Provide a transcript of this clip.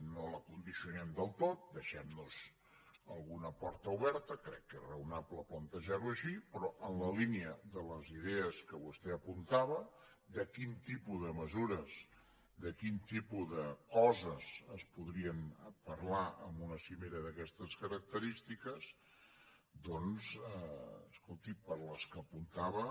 no la condicionem del tot deixem nos alguna porta oberta crec que és raonable plantejar ho així però en la línia de les idees que vostè apuntava de quin tipus de mesures de quin tipus de coses es podrien parlar en una cimera d’aquestes característiques doncs escolti per les que apuntava